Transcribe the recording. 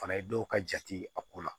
Fana ye dɔw ka jate a ko la